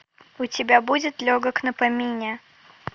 у тебя будет легок на помине